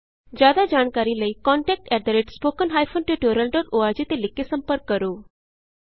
ਜਿਆਦਾ ਜਾਣਕਾਰੀ ਲਈ contact at the rate spoken hyphen tutorial dot org contact spoken tutorialਓਰਗ ਤੇ ਲਿਖ ਕੇ ਸੰਪਰਕ ਕਰੋ